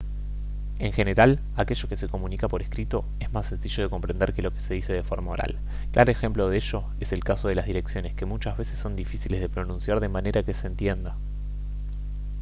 en general aquello que se comunica por escrito es más sencillo de comprender que lo que se dice de forma oral claro ejemplo de ello es el caso de las direcciones que muchas veces son difíciles de pronunciar de manera que se entienda